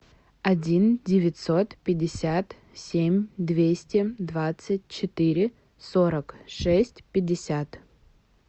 один девятьсот пятьдесят семь двести двадцать четыре сорок шесть пятьдесят